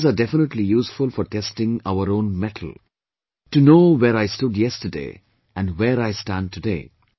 Studies are definitely useful for testing our own mettle; to know where I stood yesterday and where I stand today